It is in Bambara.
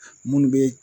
Munnu be